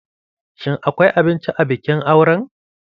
Shin akwai abinci a bikin auren?